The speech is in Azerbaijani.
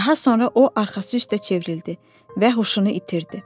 Daha sonra o arxası üstə çevrildi və huşunu itirdi.